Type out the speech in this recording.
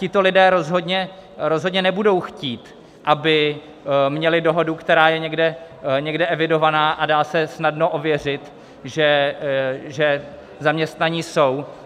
Tito lidé rozhodně nebudou chtít, aby měli dohodu, která je někde evidovaná a dá se snadno ověřit, že zaměstnaní jsou.